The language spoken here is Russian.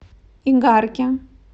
игарке